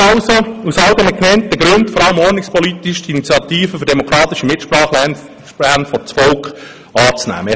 Ich bitte Sie aus all den genannten Gründen und vor allem aus ordnungspolitischer Sicht, die Initiative «Für demokratische Mitsprache – Lehrpläne vors Volk!» anzunehmen.